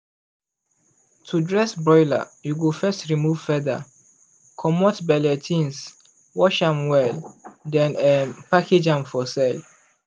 to dress broiler you go first remove feather comot belle things wash am well then um package am for sale.